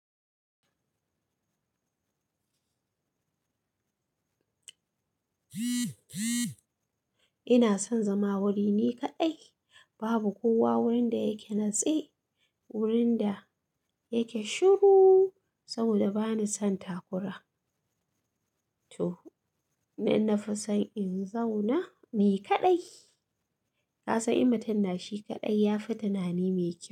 Ina son zama wuri ni kaɗai. Babu kowa wurin da yake natse, wurin da yake shiru saboda bani son takura to, ni na fi son in zauna ni kaɗai. Ka san in matun na shi kaɗai ya fi tunani me kyau.